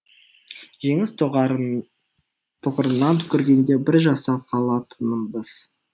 жеңіс тұғырынан көргенде бір жасап қалатынбыз